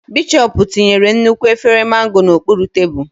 Bishọp tinyere nnukwu efere Mango n'okpuru tebụl.